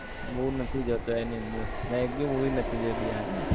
મુ નથી જતો એની અંદર મેં એક બી movie નથી જોઈ બિહાર ની